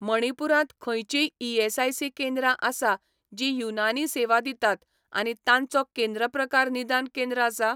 मणिपूरांत खंयचींय ईएसआयसी केंद्रां आसा जीं युनानी सेवा दितात आनी तांचो केंद्र प्रकार निदान केंद्र आसा?